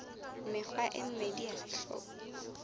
mekgwa e mmedi ya sehlooho